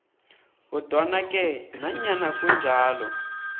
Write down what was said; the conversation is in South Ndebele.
kodwanake nanyana kunjalo